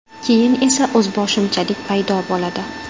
Keyin esa o‘zboshimchalik paydo bo‘ladi.